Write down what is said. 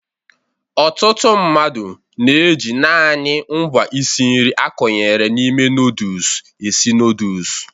Ọtụtụ mmadụ na-eji naanị ngwa isi nri a kwakọnyere n'ime nọdụs esi nọdụs.